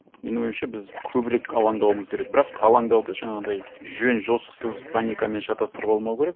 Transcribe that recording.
менің ойымша біз көбірек алаңдауымыз керек бірақ алаңдауды жаңағындай жөн жосықсыз паникамен шатастырып алмау керек